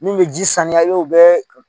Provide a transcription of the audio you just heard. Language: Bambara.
Min bɛ ji saniya o bɛ bɛɛ